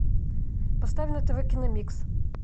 поставь на тв киномикс